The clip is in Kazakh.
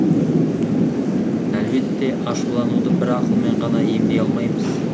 әлбетте ашулануды бір ақылмен ғана емдей алмаймыз